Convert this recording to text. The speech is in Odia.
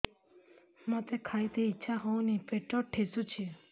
ମୋତେ ଖାଇତେ ଇଚ୍ଛା ହଉନି ପେଟ ଠେସୁଛି